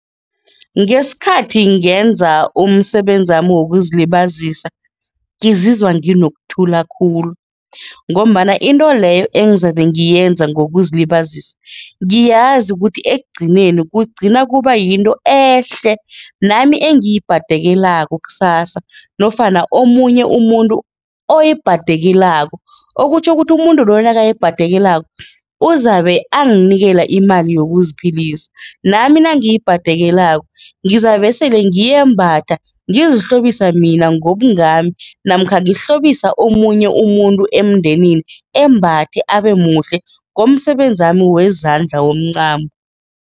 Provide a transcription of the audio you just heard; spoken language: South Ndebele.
Ngesikhathi ngenza umsebenzami wokuzilibazisa, ngizizwa nginokuthula khulu ngombana into leyo engizabe ngiyenza ngokuzilibazisa, ngiyazi ukuthi ekugcineni kugcina kuba yinto ehle nami engiyibhadekelako kusasa nofana omunye umuntu oyibhadekelako okutjho ukuthi umuntu loyo nakaya ayibhadekelako uzabe anganikela imali yokuziphilisa, nami nangiyibhadekelako, ngizabesele ngiyembatha ngizihlobisa mina ngobungami namkha ngohlobisa omunye umuntu emndenini embathe, abemuhle ngomsebenzi zami wezandla womncamo.